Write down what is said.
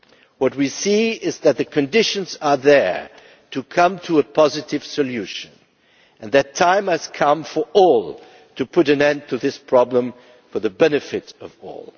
What we see is that the conditions are there for reaching a positive solution and that the time has come for all to put an end to this problem, for the benefit of